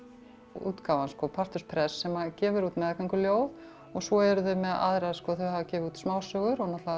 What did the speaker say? útgáfan partus press sem gefur út og svo eru þau með aðra sko þau hafa gefið út smásögur